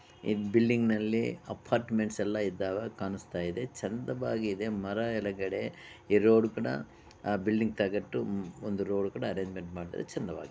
ಈ ಬಿಲ್ಡಿಂಗ್ ನಲ್ಲಿ ಅಪಾರ್ಟ್ಮೆಂಟ್ಸ್ ಎಲ್ಲಾ ಇದ್ದಾವೆ ಕಾಣುಸ್ತಾ ಇದ್ದಾವೆ ಚಂದವಾಗಿದೆ ಮರಯೆಲಗಡೆ ಈ ರೋಡು ಕೂಡ ಆ ಬಿಲ್ಡಿಂಗ್ ತಾಗಟ್ಟು ಒಂದು ರೋಡು ಕೂಡ ಅರೆಂಜ್ಮೆಂಟ್ ಮಾಡಿದ್ದಾರೆ ಚಂದವಾಗಿದೆ.